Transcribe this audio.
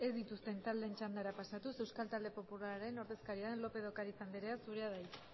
dituzten taldeen txandara pasatuz euskal talde popularraren ordezkaria lópez de ocariz anderea zurea da hitza